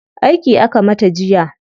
Aiki aka mata jiya.